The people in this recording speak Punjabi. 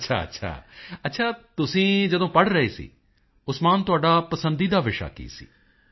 ਅੱਛਾ ਅੱਛਾ ਅੱਛਾ ਤੁਸੀਂ ਜਦੋਂ ਪੜ੍ਹ ਰਹੇ ਸੀ ਉਸਮਾਨ ਤੁਹਾਡਾ ਪਸੰਦੀਦਾ ਵਿਸ਼ਾ ਕੀ ਸੀ